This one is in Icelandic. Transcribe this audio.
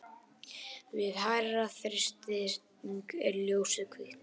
við hærri þrýsting er ljósið hvítt